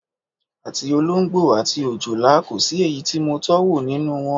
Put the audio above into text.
Àti olóǹgbò àti òjòlá, kò sí èyí tí mo tó̩wò nínú wo̩n.